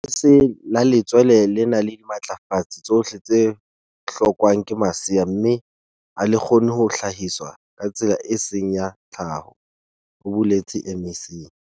"Lebese la letswele le na le dimatlafatsi tsohle tse hlo kwang ke masea mme ha le kgone ho hlahiswa ka tsela e seng ya tlhaho," ho boletse MEC.